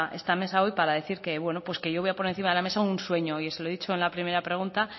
esta mesa hoy para decir que yo voy a poner encima de la mesa un sueño y se lo he dicho en la primera pregunta